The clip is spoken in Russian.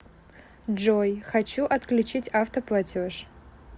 джой хочу отключить авто платеж